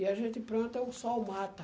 E a gente planta o sol mata.